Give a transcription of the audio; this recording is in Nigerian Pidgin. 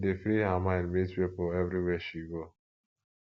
she dey free her mind meet pipo everywhere she go